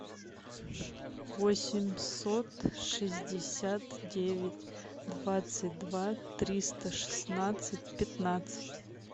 восемьсот шестьдесят девять двадцать два триста шестнадцать пятнадцать